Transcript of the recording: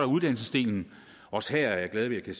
uddannelsesdelen også her er jeg glad ved at